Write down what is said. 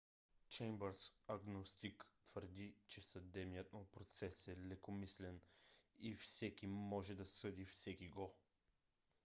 чеймбърс агностик твърди че съдебният му процес е лекомислен и всеки може да съди всекиго